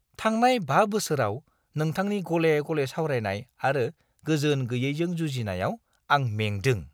थांनाय 5 बोसोराव नोंथांनि गले-गले सावरायनाय आरो गोजोन गैयैजों जुजिनायाव आं मेंदों।